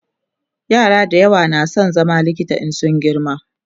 yara da yawa na San zama likita in sun girma